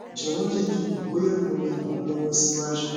jọwọ jẹ ki n mọ boya mo le ran ọ lọwọ siwaju